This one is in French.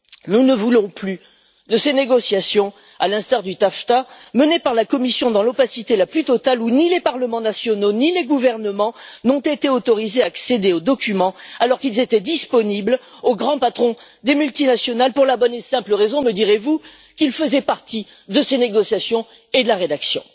Nous ne voulons plus de ces négociations qui, à l'instar de celles sur le TAFTA, sont menées par la Commission dans l'opacité la plus totale, où ni les parlements nationaux, ni les gouvernements n'ont été autorisés à accéder aux documents, alors qu'ils étaient disponibles pour les grands patrons des multinationales, pour la bonne et simple raison, me direz vous, qu'ils faisaient partie des négociations et de la rédaction.